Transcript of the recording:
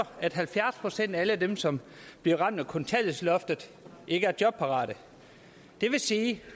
at halvfjerds procent af alle dem som bliver ramt af kontanthjælpsloftet ikke er jobparate det vil sige